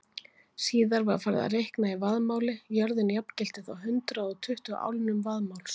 Síðar var farið að reikna í vaðmáli, jörðin jafngilti þá hundrað og tuttugu álnum vaðmáls.